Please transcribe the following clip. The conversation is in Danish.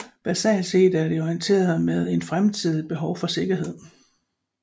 Basalt set er det orienteret mod en fremtidigt behov for sikkerhed